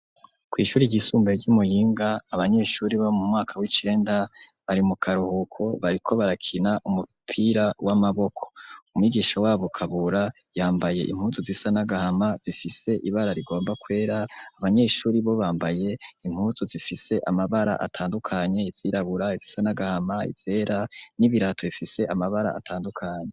Ku ishuri ryisumbuye ryi Muyinga abanyeshuri bo mumwaka w'icenda bari mukaruhuko bariko barakina umupira w'amaboko umwigisha wabo kabura yambaye impuzu zisa n'agahama zifise ibara rigomba kwera abanyeshuri bo bambaye impuzu zifise amabara atandukanye izirabura izisa n'agahama, izera n'ibirato bifise amabara atandukanye.